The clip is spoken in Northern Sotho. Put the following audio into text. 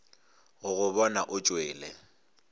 go go bona o tšwele